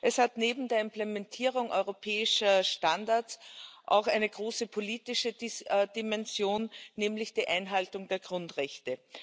Es hat neben der Implementierung europäischer Standards auch eine große politische Dimension, nämlich die Einhaltung der Grundrechte.